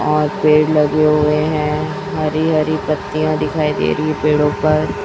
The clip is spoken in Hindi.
और पेड़ लगे हुए है हरी हरी पत्तियां दिखाई दे री है पेड़ों पर।